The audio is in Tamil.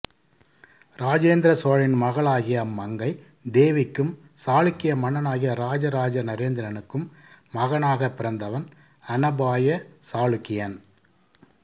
ராஜேந்திர சோழனின் மகளாகிய அம்மங்கை தேவிக்கும் சாளுக்கிய மன்னனாகிய ராஜ ராஜ நரேந்திரனுக்கும் மகனாக பிறந்தவன் அநபாய சாளுக்கியன்